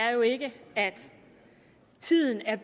er jo ikke at tiden er